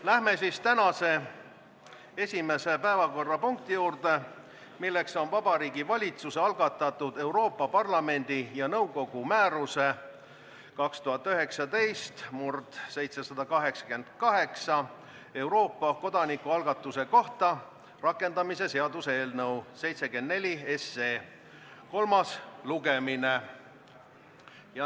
Lähme tänase esimese päevakorrapunkti juurde, milleks on Vabariigi Valitsuse algatatud Euroopa Parlamendi ja nõukogu määruse 2019/788 "Euroopa kodanikualgatuse kohta" rakendamise seaduse eelnõu 74 kolmas lugemine.